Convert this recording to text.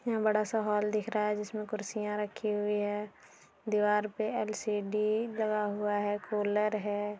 यहां बड़ा सा हॉल दिख रहा है जिसमें कुर्सियां रखी हुई है दीवार पे एल_सी_डी लगा हुआ है कूलर है।